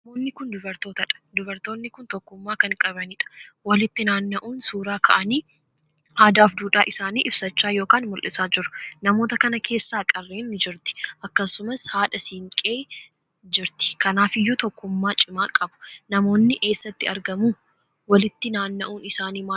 Namoonni kun dubartootadha. dubartoonni kun tokkummaa kan qabaniidha walitti naanna'uun suuraa kaa'anii aadaaf duudhaa isaanii ibsachaa ykn mul'isaa jiru. namoota kana keessa qarree ni jirti akkasumas haadha siinqeen jirti kanaafiyyuu tokkummaa cimaa qabu. Namoonni eessatti argamu? walitti naaanna'uun isaanii maal ibsa?